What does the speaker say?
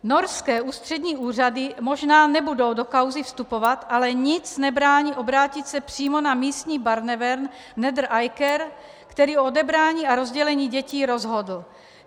Norské ústřední úřady možná nebudou do kauzy vstupovat, ale nic nebrání obrátit se přímo na místní Barnevern Nedre Eiker, který o odebrání a rozdělení dětí rozhodl.